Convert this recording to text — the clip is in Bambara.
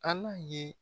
Ala ye